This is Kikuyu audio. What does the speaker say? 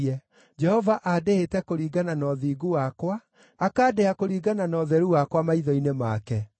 Jehova andĩhĩte kũringana na ũthingu wakwa, akandĩha kũringana na ũtheru wakwa maitho-inĩ make.